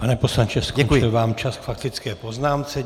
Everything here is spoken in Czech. Pane poslanče, skončil vám čas k faktické poznámce.